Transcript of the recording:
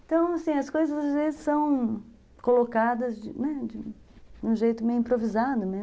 Então, assim, as coisas às vezes são colocadas de um jeito meio improvisado mesmo.